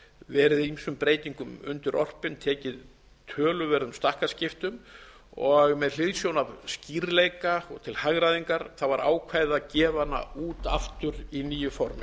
verið ýmsum breytingum undirorpin tekið töluverðum stakkaskiptum og með hliðsjón af skýrleika og til hagræðingar var ákveðið að gefa hana út aftur í nýju formi